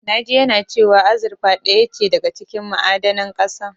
Na ji yana cewa azurfa ɗaya ce daga cikin ma'adanan ƙasa.